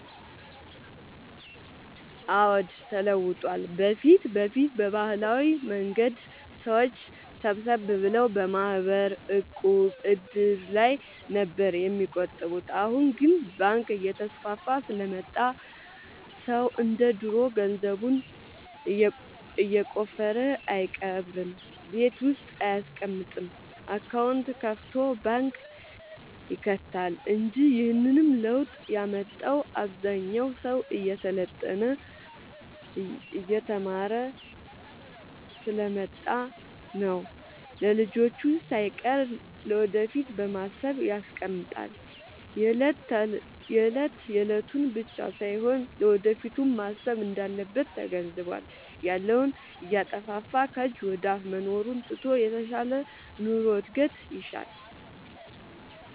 አዎድ ተለውጧል በፊት በፊት በባህላዊ መንገድ ሰዎች ሰብሰብ ብለው በማህበር፣ ዕቁብ፣ እድር ላይ ነበር የሚቆጥቡት አሁን ግን ባንክ እየተስፋፋ ስለመጣ ሰው እንደ ድሮ ገንዘቡን የቆፈረ አይቀብርም ቤት ውስጥ አይያስቀምጥም አካውንት ከፋቶ ባንክ ይከታል እንጂ ይህንንም ለውጥ ያመጣው አብዛኛው ሰው እየሰለጠነ የተማረ ስሐ ስለመጣ ነው። ለልጅቹ ሳይቀር ለወደፊት በማሰብ ያስቀምጣል የለት የለቱን ብቻ ሳይሆን ለወደፊቱም ማሰብ እንዳለበት ተገንዝቧል። ያለውን እያጠፋፋ ከጅ ወደአፋ መኖሩን ትቶ የተሻለ ኑሮ እድገት ይሻል።